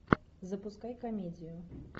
запускай комедию